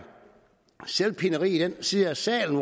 selvpineri i den side af salen